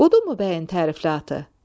Budurmu bəyin tərifli atı?